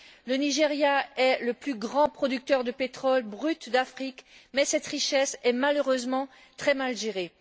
Le Nigeria est le plus grand producteur de pétrole brut d'Afrique mais cette richesse est malheureusement très mal gérée.